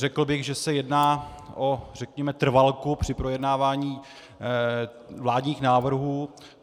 Řekl bych, že se jedná o řekněme trvalku při projednávání vládních návrhů.